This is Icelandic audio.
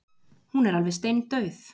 Hún er alveg steindauð!